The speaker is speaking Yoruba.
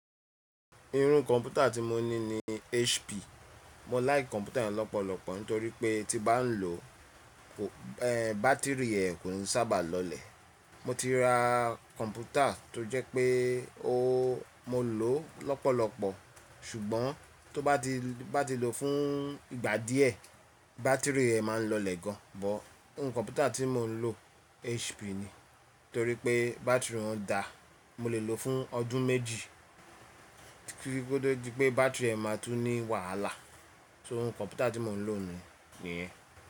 Iru kọ̀mpútà tí mo ní ní HP. Mo láì kọ̀mpútà yẹn lọ́pọ̀lọpọ̀ nítorí pé tí bá ń lò o, ẹ́, bátírì ẹ kò ń sábà lọlẹ̀. Mo ti ra kọ̀mpútà tó jẹ́ pé o, mo lò ó lọ́pọ̀lọpọ̀ ṣùgbọ́n tó bá ti, bá ti lò fún ìgbà díẹ̀ bátírì ẹ máa ń lọlẹ̀ gan. Ọ̀, bó ń kọ̀mpútà tí mò ń lò HP ni nítorí pé bátírì ọ́n da. Mo lè lò fún ọdún méjì kí ó tó di pé bátírì ẹ máa tú ní wàhálà. So ń kọ̀mpútà tí mò ń lò ní òní níyẹn.